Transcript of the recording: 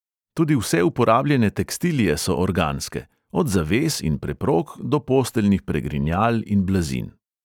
Tudi vse uporabljene tekstilije so organske – od zaves in preprog do posteljnih pregrinjal in blazin.